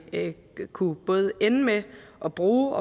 kunne både ende med at bruge